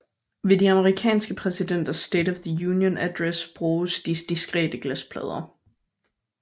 Ved de amerikanske præsidenters State of the Union Address bruges de diskrete glasplader